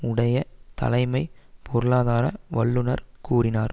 உடைய தலைமை பொருளாதார வல்லுனர் கூறினார்